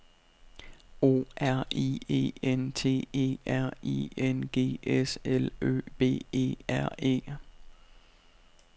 O R I E N T E R I N G S L Ø B E R E